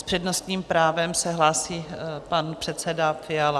S přednostním právem se hlásí pan předseda Fiala.